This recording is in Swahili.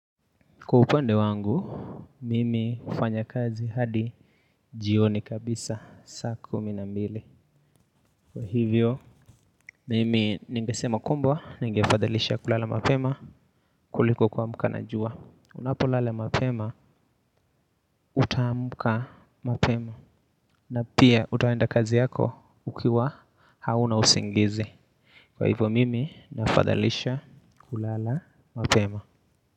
Kwa upande wangu, mimi hufanya kazi hadi jioni kabisa saa kumi na mbili. Kwa hivyo, mimi ningesema kwamba, ningefadhalisha kulala mapema kuliko kuamka na jua. Unapolala mapema, utaamka mapema. Na pia utaenda kazi yako ukiwa hauna usingizi. Kwa hivyo, mimi nafadhalisha kulala mapema.